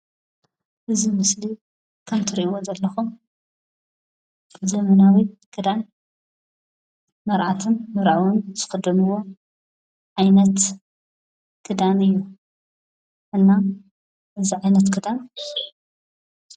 እዚ ምስሊ ከምቲ ትሪእዎ ዘለኹም ዘመናዊ ክዳን መርዓትን መርዓውን ዝኽደንዎ ዓይነት ክዳን እዩ። እና እዚ ዓይነት ክዳን...